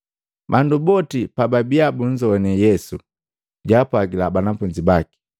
Bandu boti pababiya bunzowane Yesu, jaapwagila banafunzi baki,